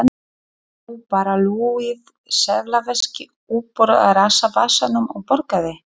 Hann dró bara lúið seðlaveski uppúr rassvasanum og borgaði.